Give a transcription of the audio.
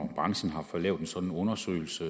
og når branchen har fået lavet en sådan undersøgelse